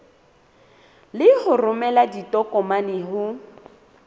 le ho romela ditokomane ho